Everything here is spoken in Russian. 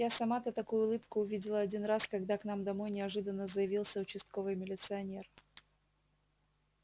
я сама-то такую улыбку увидела один раз когда к нам домой неожиданно заявился участковый милиционер